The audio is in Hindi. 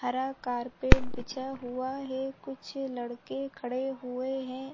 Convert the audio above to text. हरा कारपेट बिछा हुआ है कुछ लड़के खड़े हुए है।